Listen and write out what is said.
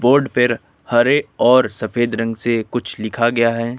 Would पेर हरे और सफेद रंग से कुछ लिखा गया है।